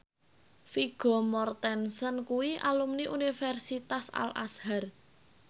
Vigo Mortensen kuwi alumni Universitas Al Azhar